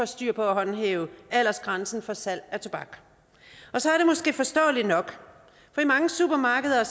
styr på at håndhæve aldersgrænsen for salg af tobak og så er det måske forståeligt nok for i mange supermarkeder